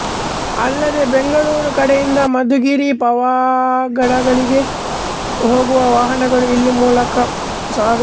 ಅಲ್ಲದೆ ಬೆಂಗಳೂರು ಕಡೆಯಿಂದ ಮಧುಗಿರಿ ಪಾವಗಡಗಳಿಗೆ ಹೋಗುವ ವಾಹನಗಳು ಈ ಮೂಲಕ ಸಾಗುತ್ತವೆ